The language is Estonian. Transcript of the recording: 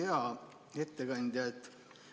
Hea ettekandja!